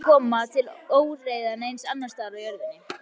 Og ekki mun koma til óeirða neins staðar á jörðinni.